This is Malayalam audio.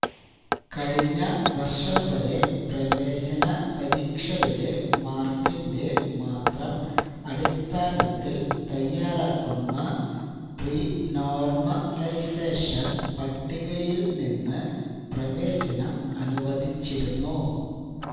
കഴിഞ്ഞ വര്ഷംവരെ പ്രവേശനപരീക്ഷയുടെ മാര്ക്കിന്റെ മാത്രം അടിസ്ഥാനത്തില് തയാറാക്കുന്ന പ്രീ നോര്മലൈസേഷന് പട്ടികയില് നിന്ന് പ്രവേശനം അനുവദിച്ചിരുന്നു